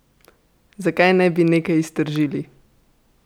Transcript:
Zakaj ne bi nekaj iztržili?